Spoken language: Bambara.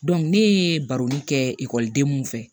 ne ye baro kɛ ekɔliden mun fɛ